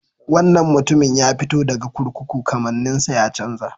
Wannan mutumin ya fito daga kurkuku, kamanninsa ya chanza.